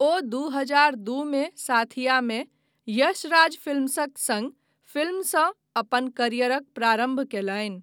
ओ दू हजार दू मे साथियामे, यश राज फिल्म्सक सङ्ग फिल्मसँ अपन करियरक प्रारम्भ कयलनि।